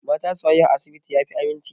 Mata su haihu a asibiti ya fi aminci.